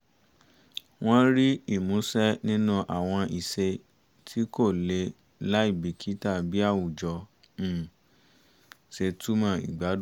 wọ́n rí ìmúṣẹ nínú àwọn ìṣe tí kò lè láì bìkítà bí àwùjọ um ṣe túmọ̀ ìgbàdun